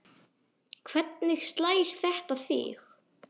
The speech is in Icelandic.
Hvernig slær þetta þig?